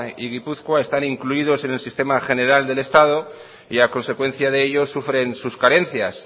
y gipuzkoa están incluidos en el sistema general del estado y a consecuencia de ello sufren sus carencias